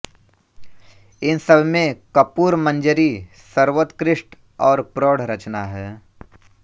इन सबमें कर्पूरमंजरी सर्वोत्कृष्ट और प्रौढ़ रचना है